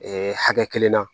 hakɛ kelen na